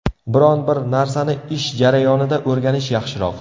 Biron bir narsani ish jarayonida o‘rganish yaxshiroq.